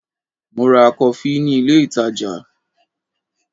Mo ra kọfí ni ilé ìtajà.